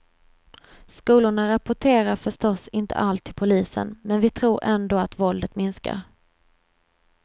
Skolorna rapporterar förstås inte allt till polisen, men vi tror ändå att våldet minskar.